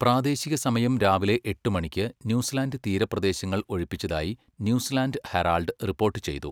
പ്രാദേശിക സമയം രാവിലെ എട്ട് മണിക്ക് ന്യൂസിലാൻഡ് തീരപ്രദേശങ്ങൾ ഒഴിപ്പിച്ചതായി ന്യൂസിലാൻഡ് ഹെറാൾഡ് റിപ്പോർട്ട് ചെയ്തു.